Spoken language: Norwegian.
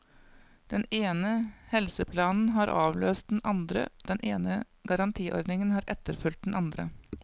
Den ene helseplanen har avløst den andre, den ene garantiordningen har etterfulgt den andre.